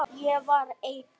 Ég var ein.